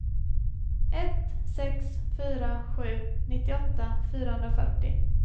ett sex fyra sju nittioåtta fyrahundrafyrtio